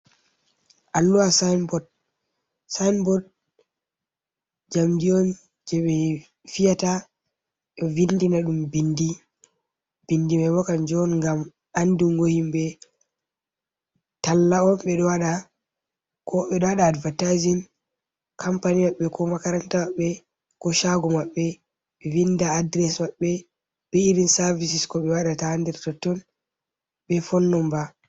Alluwa sinbod. Sain bod, njamdi on jei ɓe fiyata, ɓe vindina ɗum bindi. Bindi mai bo kanjum on ngam andungo himɓe, talla on ɓe ɗo waɗa, ko ɓe ɗo waɗa advataizin kompani maɓɓe, ko makaranta maɓɓe, ko shaago maɓɓe ɓe vinda address maɓɓe, be irin savisis ko ɓe waɗata ha nder totton, be fon nomba.